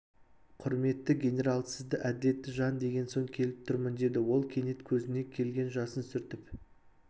құрметті генерал сізді әділетті жан деген соң келіп тұрмын деді ол кенет көзіне келген жасын сүртіп